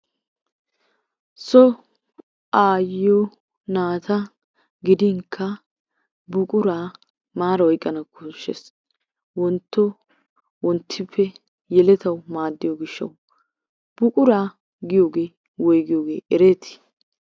So aayyiyo, naata gidinkka buqura maara oyqqana koshshees. Wontto wonttippe yeletawu maaddiyo gishshawu. Buquraa giyogee woygiyogee ereetii?